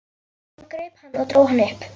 Hann greip hann og dró hann upp.